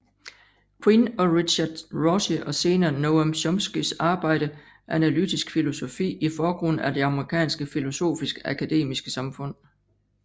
Quine og Richard Rorty og senere Noam Chomskys arbejde analytisk filosofi i forgrunden af det amerikanske filosofiske akademiske samfund